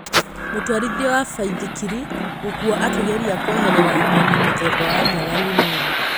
Mũtwarithia wa baithikiri gũkua akĩgeria kweherera nyoni mũthemba wa nyaga Limuru